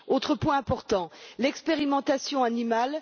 Autre point important l'expérimentation animale.